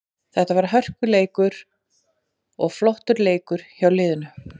Þetta var hörkuleikur og flottur leikur hjá liðinu.